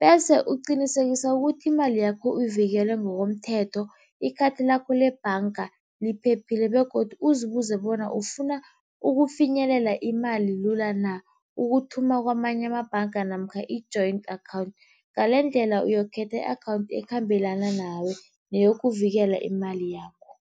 Bese uqinisekisa ukuthi imali yakho uyivikele ngokomthetho, ikhathi lakho lebhanga liphephile begodu uzibuze bona ufuna ukufinyelela imali lula na. Ukuthoma kamanye amabhanga namkha i-joint account, ngalendlela uyokukhetha i-account ekhambelana nawe neyokuvikela imali yakho.